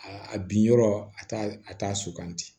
A a bin yɔrɔ a t'a a t'a suganti